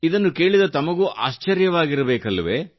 ಇದನ್ನು ಕೇಳಿದ ತಮಗೂ ಆಶ್ಚರ್ಯವಾಗಿತಬೇಕಲ್ಲವೆ